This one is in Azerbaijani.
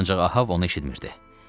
Ancaq Ahav onu eşitmirdi.